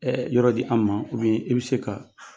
Ɛ yɔrɔ di anw ma i bɛ se ka